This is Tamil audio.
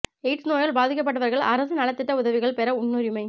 எய்ட்ஸ் நோயால் பாதிக்கப்பட்டவா்கள் அரசு நலத் திட்ட உதவிகள் பெற முன்னுரிமை